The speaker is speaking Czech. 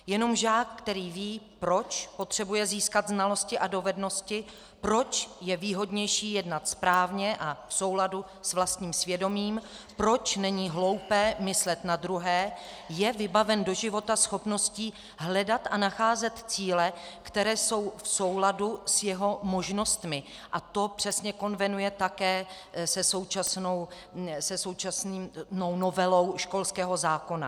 Jenom žák, který ví, proč potřebuje získat znalosti a dovednosti, proč je výhodnější jednat správně a v souladu s vlastním svědomím, proč není hloupé myslet na druhé, je vybaven do života schopností hledat a nacházet cíle, které jsou v souladu s jeho možnostmi, a to přesně konvenuje také se současnou novelou školského zákona.